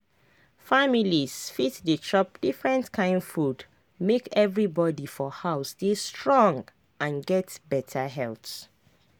families fit dey chop different kain food make everybody for house dey strong and get better health.